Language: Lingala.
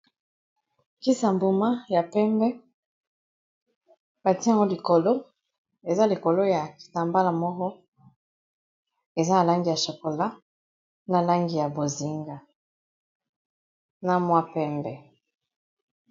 kisi ya mbuma ya pembe batie yango likolo eza likolo ya kitambala moko eza na langi ya chakola na langi ya bozinga na mwa pembe